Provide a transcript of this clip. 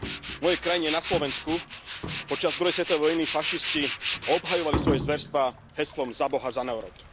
V mojej krajine na Slovensku počas druhej svetovej vojny fašisti obhajovali svoje zverstvá heslom Za Boha, za národ!